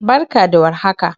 Barka da warhaka.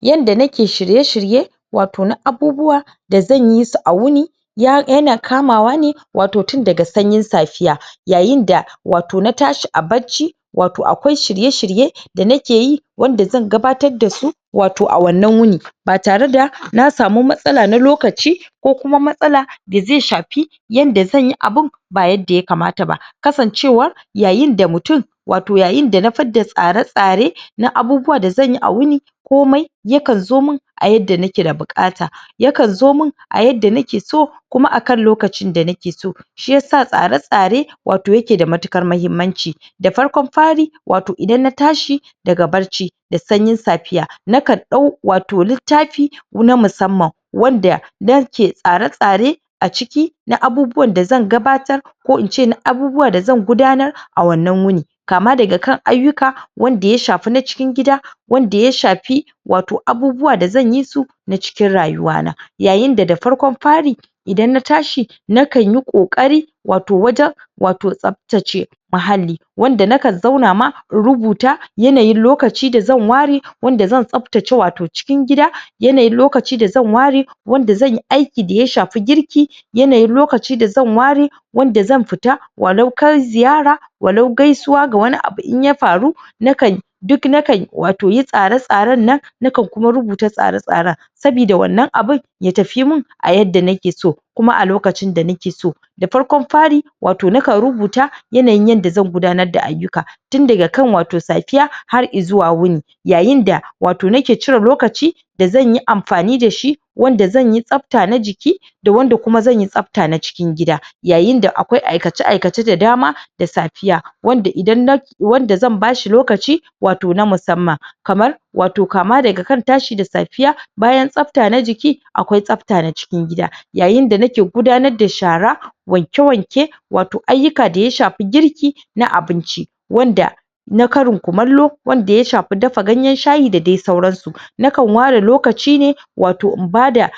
Yanda na ke shirye-shirye wato na abubuwa da zan yi su a wuni [ya] yana kama wa ne wato tun daga sanyin safiya yayin da wato na tashi a barci, wato akwai shirye-shirye da nake yi wanda zan gabatar da su wato a wannan wuni. Ba tare da na samu matsala na lokaci ko kuma matsala da zai sha fi zan yi abun ba yadda ya kamata ba. Ksancewa [yayin da mutum ] wato yayin da na fidda tsare-tsare na abubuwa da zan a wuni, komai ya kan zo min a yadda nake da buƙata. Ya kan zo min a yadda nake so, kuna a kan lokacin da nakeso. Shi yasa tsare-tsare wato ya ke da matuƙar mahi.mmanci Da farko fari, wato idan na tashi, daga barci da sanyin safiya, na kan ɗau wato littafi na musamman wadda na ke tsare-tsarei a ciki na abubuwa da zan gabatar ko ince na abubuwa da zan gudanar a wannan wuni. Ka ma daga kan ayyuka wanda ya shafi na cikin gida, wanda ya shafi wato abubuwa da zan yi su na cikin rayuwa na. Yayin da farkon fari, idan na tashi, na kan yi ƙoƙari wato wajen, wato tsaftace muhalli muhalli wanda na kan zauna ma, in rubuta yanayin lokaci da zan wa re yanda zan tsaftace wato cikin gida, yanayin lokaci da zan wa re, wanda zanyi aiki da ya shafi girki, yanayin lokaci da zan wa re wanda zan fita wa lau kai ziyara wa lau gaisuwa ga wani abu in ya faru [na kan] duk na kan yi wato tsare-tsraen nan, na kan kuma rubuta tsara-tsaran, Sabida wannan abun, ya tafi mun a yadda nakeso kuma a lokacin da nakeso. Da farkon fari, wato na kan rubuta yanayin yadda zan gudanar da ayyuka, tunda daga kan safiya, har i zuwa wuni. Yayin da wato nake cire lokaci da zan yi amfani da shi, wanda zan yi tsafta na jiki, da wanda kuma zan yi tsafta na cikin gida. Yayin da akwai aikace-aikace da dama da safiya, [wadda idan na] wadda zan ba shi lokaci wato na musamman [kamar] wato ka ma daga kan tashi da safiya, bayan tsafta na jiki, akwai tsafta na cikin gida, yayin da nake gudanar da shara, wanke-wanke, wato ayyuka da ya shafi girki na abinci. [wanda] na akrin kumallo wanda ya shafi ganyen sahyi da dai sauran su. Na kan wa re lokaci ne wato in ba da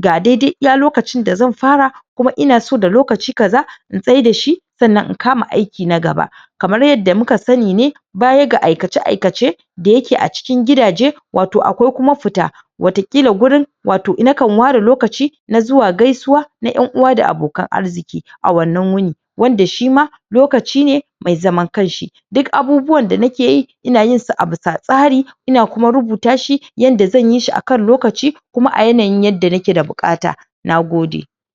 ga daidai iya lokacin d azan fara kuma ina so da lakaci ka za in tsaida shi, sannan in ka ma aiki na gaba. Kamar yadda mu ka sani ne, baya ga aikace-aikace da ya ke a cikin gidaje, wato akwai kuma fita, [wataƙila wurin] wato na kan wa re lokaci na zuwa gaisuwa na 'yan uwa da abokan arziƙi a wannan wuni, wanda shi ma lokaci ne mai zan kan shi. mai zaman kan shi/ Duk abubuwan da nakeyi ina yin sa a bisa tsari, ina kuma rubuta shi yanda zan yi shi a kan lokaci, kuma a yanayin yadda nae da buƙata. Nagode.